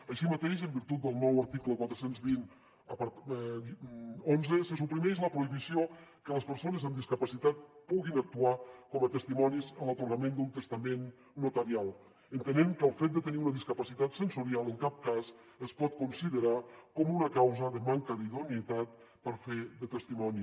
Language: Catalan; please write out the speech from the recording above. així mateix en virtut del nou article quaranta dos mil onze se suprimeix la prohibició que les persones amb discapacitat puguin actuar com a testimonis en l’atorgament d’un testament notarial entenent que el fet de tenir una discapacitat sensorial en cap cas es pot considerar com una causa de manca d’idoneïtat per fer de testimoni